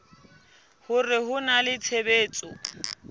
hore ho na le tshebetso